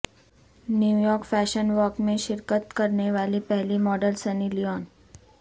New York fashion week میں شرکت کرنیوالی پہلی ماڈل سنی لیون